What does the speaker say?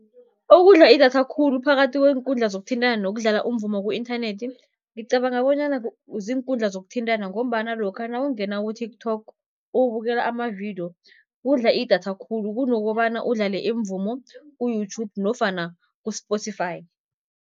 Okudla idatha khulu phakathi kweenkundla zokuthintana nokudlala umvumo ku-inthanethi, ngicabanga bonyana ziinkundla zokuthintana ngombana lokha nawungena ku-TikTok ubukela amavidiyo, kudla idatha khulu kunokobana udlale imvumo ku-YouTube nofana ku-Spotify.